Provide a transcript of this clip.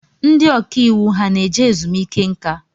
Ndị ọkàiwu ha na-eje ezumiike nka?